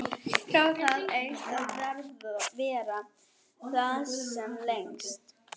Þráði það eitt að vera þar sem lengst.